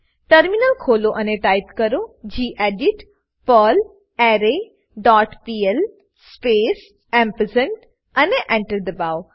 terminal ખોલો અને type કરો gedit perlre dot pl space ampersand અને Enter દબાઓ